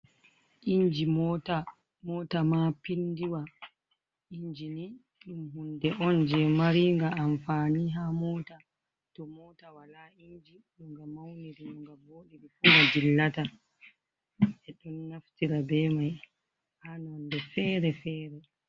Inji mota, mota ma pindiwa inji ni ɗum hunde on je mari ga amfani ha mota, to mota wala inji no nga mauniri nga voɗiri fu nga dillata ɓe ɗon naftira be mai ha nonde fere-fere.